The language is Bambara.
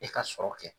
E ka sɔrɔ kɛ